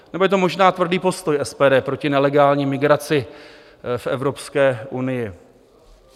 Nebo je to možná tvrdý postoj SPD proti nelegální migraci v Evropské unii?